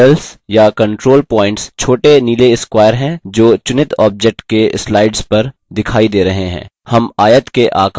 handles या control points छोटे नीले squares हैं जो चुनित object के स्लाइड्स पर दिखाई दे रहे हैं